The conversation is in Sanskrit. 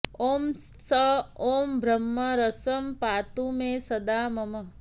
ॐ त्स ॐ ब्रह्मरसं पातु मे सदा मम